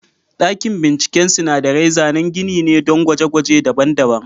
Dakin bincike sinadarai zanen gini ne don gwaje-gwaje daban-daban.